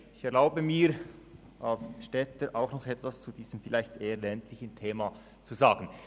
Ich erlaube mir, als Städter auch noch etwas zu diesem eher ländlichen Thema zu sagen.